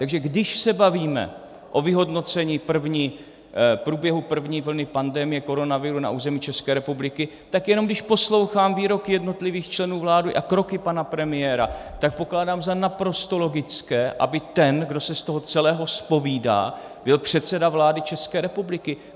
Takže když se bavíme o vyhodnocení průběhu první vlny pandemie koronaviru na území České republiky, tak jenom když poslouchám výroky jednotlivých členů vlády a kroky pana premiéra, tak pokládám za naprosto logické, aby ten, kdo se z toho celého zpovídá, byl předseda vlády České republiky.